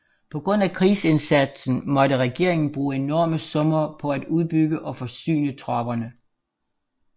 På grund af krigsindsatsen måtte regeringen bruge enorme summer på at udbygge og forsyne tropperne